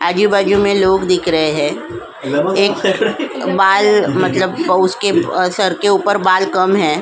आजूबाजू में लोग दिख रहे हैं एक बाल मतलब उसके सर के ऊपर बाल कम है ।